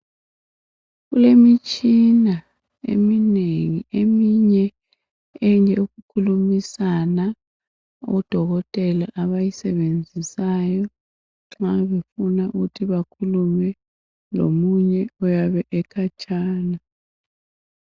kulemitshina eminengi eminye eyokukhulumisana odokotela abayisebenzisayo nxa befuna ukuthi bakhulume lomunye oyabe ekhatshana